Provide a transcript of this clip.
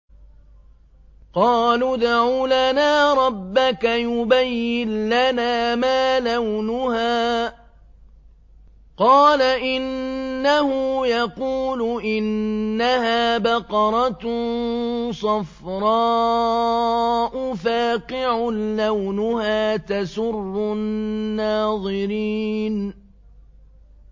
قَالُوا ادْعُ لَنَا رَبَّكَ يُبَيِّن لَّنَا مَا لَوْنُهَا ۚ قَالَ إِنَّهُ يَقُولُ إِنَّهَا بَقَرَةٌ صَفْرَاءُ فَاقِعٌ لَّوْنُهَا تَسُرُّ النَّاظِرِينَ